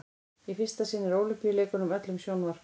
í fyrsta sinn er ólympíuleikunum öllum sjónvarpað